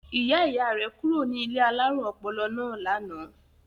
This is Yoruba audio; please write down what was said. Ìyá-ìyá rẹ̀ kúrò ní ilé alárùn ọpọlọ náà lánàá.